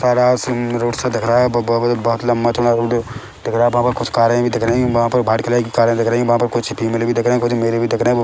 सारा सिम रोड सा दिख रहा है ब ब बहु बहोत लम्बा चौड़ा रोड दिख रहा है बहाँ पर कुछ कारें भी दिख रही है बहाँ पर वाइट कलर की कारें दिख रहीं है बहाँ पर कुछ फीमेल भी दिख रही कुछ मेल भी दिख रहे है वो --